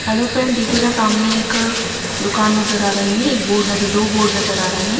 Hello friend देखिएगा सामने एक दुकान नजर आ रही है एक बोर्ड नज़र दो बोर्ड नज़र आ रहे हैं।